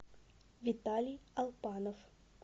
виталий алпанов